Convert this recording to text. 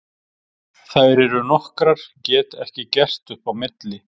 Þær eru nokkrar, get ekki gert upp á milli.